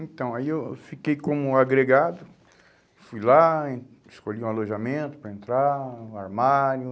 Então, aí eu fiquei como agregado, fui lá, escolhi um alojamento para entrar, um armário...